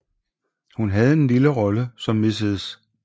Hun havde en lille rolle som Mrs